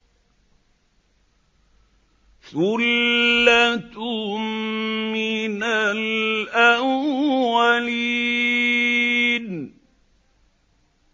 ثُلَّةٌ مِّنَ الْأَوَّلِينَ